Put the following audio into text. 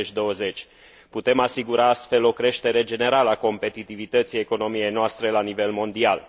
2020. Putem asigura, astfel, o creștere generală a competitivității economiei noastre la nivel mondial.